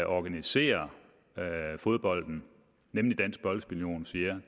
organiserer fodbolden nemlig dansk boldspil union siger